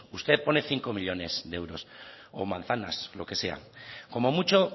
usted pone cinco millónes de euros o manzanas lo que sea como mucho